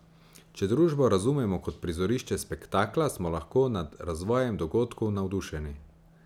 Če družbo razumemo kot prizorišče spektakla, smo lahko nad razvojem dogodkov navdušeni.